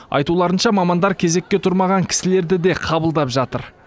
айтуларынша мамандар кезекке тұрмаған кісілерді де қабылдап жатыр